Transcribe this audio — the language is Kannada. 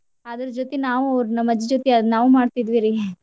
ಅದರ್ ಜೊತೆ ನಾವು ಅವ್ರ್ ನಮ್ಮಜ್ಜಿ ಜೊತೆ ಅದ್ ನಾವು ಮಾಡ್ತಿದ್ವಿರಿ .